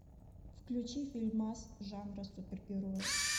включи фильмас жанра супергероя